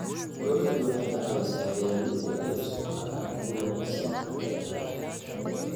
Dawladdu waxay ka caawisaa beeralayda inay u isticmaalaan abuur wanaagsan xagga beeraha.